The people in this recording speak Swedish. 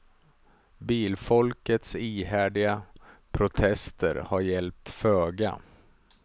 Bilfolkets ihärdiga protester har hjälpt föga.